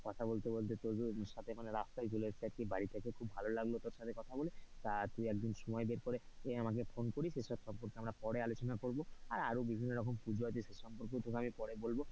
কথা বলতে বলতে তোর সাথে রাস্তায় চলে এসেছি বাড়ি থেকে খুব ভালো লাগলো তোর সাথে কথা বলে তা তুই একদিন সময় করে আমাকে ফোন এই সব পরে আলোচনা করবো আরো বিভিন্ন রকম পুজো আছে সেই সম্পর্কে আমি পরে বলবো,